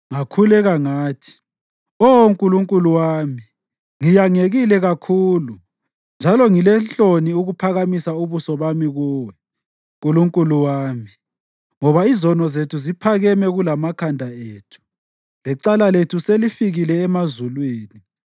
ngakhuleka ngathi: “Oh Nkulunkulu wami, ngiyangekile kakhulu njalo ngilenhloni ukuphakamisela ubuso bami kuwe, Nkulunkulu wami, ngoba izono zethu ziphakeme kulamakhanda ethu lecala lethu selifikile emazulwini.